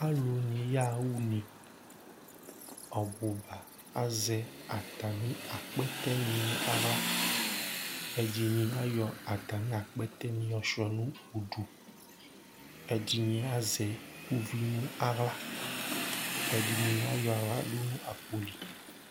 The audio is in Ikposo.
alò ni ya ɣa une ɔbu ba azɛ atami akpɛtɛ ni no ala ɛdini ayɔ atami akpɛtɛ ni yɔ sua no udu ɛdini azɛ uvi no ala ɛdini ayɔ ala do no akpo li